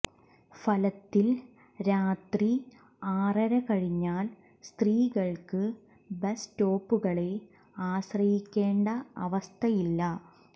ഫലത്തിൽ രാത്രി ആറര കഴിഞ്ഞാൽ സ്ത്രീകൾക്ക് ബസ് സ്റ്റോപ്പുകളെ ആശ്രയിക്കേണ്ട അവസ്ഥയില്ല